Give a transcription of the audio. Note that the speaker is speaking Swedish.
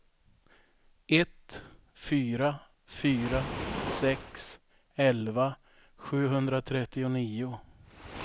ett fyra fyra sex elva sjuhundratrettionio